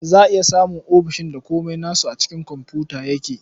Za a iya samun ofis ɗin da komai nasu a cikin komfuta yake.